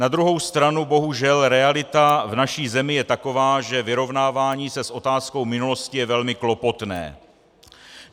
Na druhou stranu bohužel realita v naší zemi je taková, že vyrovnávání se s otázkou minulosti je velmi klopotné.